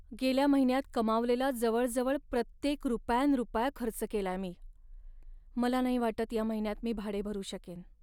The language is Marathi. गेल्या महिन्यात कमावलेला जवळजवळ प्रत्येक रुपया न रुपया खर्च केलाय मी. मला नाही वाटत या महिन्यात मी भाडे भरू शकेन.